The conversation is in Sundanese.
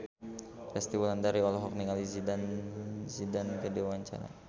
Resty Wulandari olohok ningali Zidane Zidane keur diwawancara